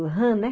Rã, né?